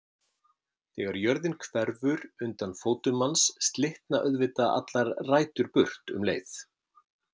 Þegar jörðin hverfur undan fótum manns slitna auðvitað allar rætur burt um leið.